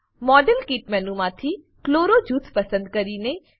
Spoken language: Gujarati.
મોડેલ કિટ મેનુમાંથી ક્લોરો જૂથ પસંદ કરીએ